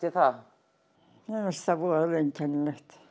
það voðalega einkennilegt